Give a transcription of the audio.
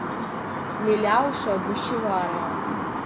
миляуша гущеварова